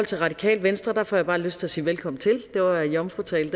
til radikale venstre får jeg bare lyst til at sige velkommen til det var en jomfrutale